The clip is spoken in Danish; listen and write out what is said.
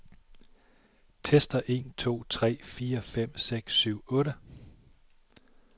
Tester en to tre fire fem seks syv otte.